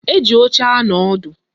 Eji oche anọ ọdụ